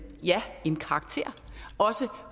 karakter også